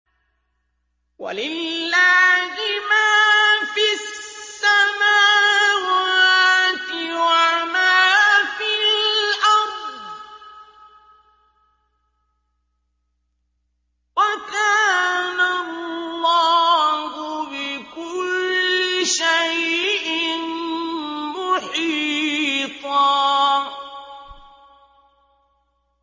وَلِلَّهِ مَا فِي السَّمَاوَاتِ وَمَا فِي الْأَرْضِ ۚ وَكَانَ اللَّهُ بِكُلِّ شَيْءٍ مُّحِيطًا